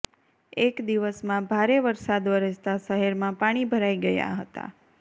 એક દિવસમાં ભારે વરસાદ વરસતાં શહેરમાં પાણી ભરાઈ ગયા હતા